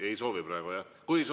Ei soovi praegu, jah?